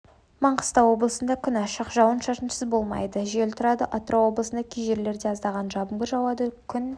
маңғыстау облысында күн ашық жауын-шашын болмайды жел тұрады атырау облысында кей жерлерде аздаған жаңбыр жауады күн